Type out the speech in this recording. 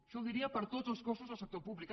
això ho diria per a tots els cossos del sector públic